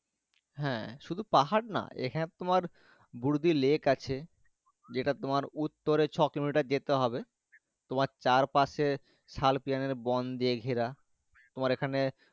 হ্যাঁ সুদু পাহাড় না এখানে তোমার গুড়িদি লেগ আছে। যে তা তোমার উত্তরে ছ, কিলোমিটার যেতে হবে তোমার চার পাশে শাল কীলানী বন দিয়ে ঘেরা। তোমার এ খানে।